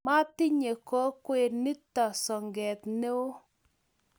matinye kokwet nito soket neoo